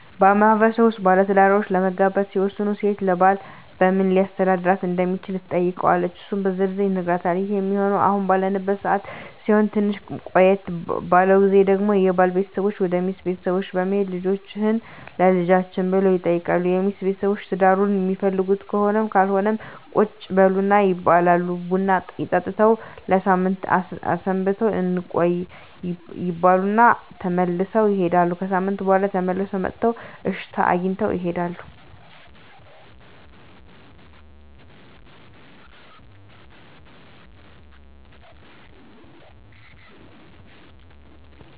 በማህበረሰቡ ውስጥ ባለትዳሮች ለመጋባት ሲወስኑ ሴት ለባል በምን ሊያስተዳድራት እንደሚችል ትጠይቀዋለች እሱም በዝርዝር ይነግራታል ይህ ሚሆነው አሁን ባለንበት ሰዓት ሲሆን ትንሽ ቆየት ባለው ግዜ ደግሞ የባል ቤተሰቦች ወደ ሚስት ቤተሰቦች በመሄድ ልጃቹህን ለልጃችን ብለው ይጠይቃሉ የሚስት ቤተሰቦች ትዳሩን ሚፈልጉት ከሆነም ካልሆነም ቁጭ በሉ ይባላሉ ቡና ጠጥተው ለሳምንት አስበንበት እንቆይ ይባሉ እና ተመልሰው ይሄዳሉ። ከሣምንት በኋላ ተመልሰው መጥተው እሽታ አግኝተው ይሄዳሉ።